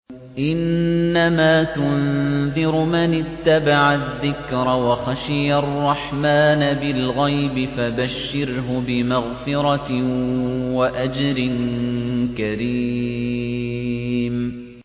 إِنَّمَا تُنذِرُ مَنِ اتَّبَعَ الذِّكْرَ وَخَشِيَ الرَّحْمَٰنَ بِالْغَيْبِ ۖ فَبَشِّرْهُ بِمَغْفِرَةٍ وَأَجْرٍ كَرِيمٍ